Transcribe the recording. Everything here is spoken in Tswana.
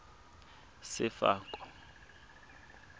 sefako